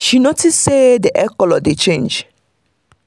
she notice say the egg color dey change.